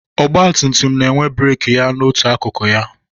Ọgbatumtum na-enwe breeki ya n'otu akụkụ ya.